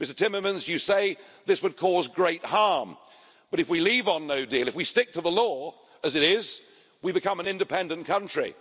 Mr Timmermans, you say this would cause great harm, but if we leave on no deal, if we stick to the law as it is, we become an independent country.